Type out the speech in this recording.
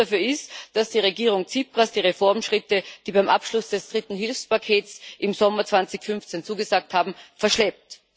Und der Grund dafür ist, dass die Regierung Tsipras die Reformschritte, die beim Abschluss des dritten Hilfspakets im Sommer 2015 zugesagt wurden, verschleppt.